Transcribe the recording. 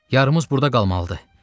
Yarımız burda qalmalıdır.